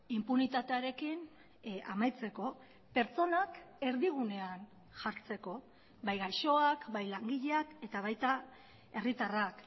inpunitatearekin amaitzeko pertsonak erdigunean jartzeko bai gaixoak bai langileak eta baita herritarrak